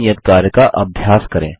इस नियत कार्य का अभ्यास करें